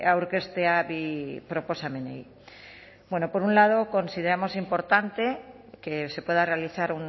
aurkeztea bi proposamenei por un lado consideramos importante que se pueda realizar